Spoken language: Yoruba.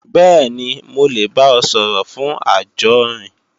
Bẹ́ẹ̀ni, mo lè bá ọ sọ̀rọ̀ fún ajórin